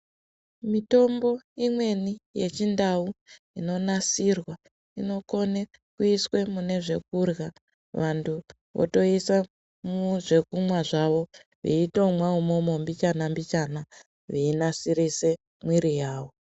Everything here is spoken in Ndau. Mitombo imweni yechiNdau inonasirwa inokone kuiswe mune zvtkurya vantu votoisa muzvekumwa zvawo veitomwa mbichana-mbichana veinasirise mwiiri yawo.